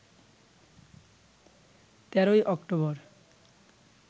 ১৩ ই অক্টোবর